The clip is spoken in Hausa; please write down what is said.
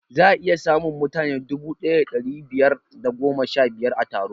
Za'a iya samun mutane dubu ɗaya da ɗari biyar da goma sha biyar a taro